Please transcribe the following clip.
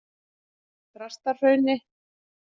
Þrastahrauni